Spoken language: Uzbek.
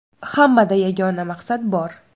Hammada yagona maqsad bor.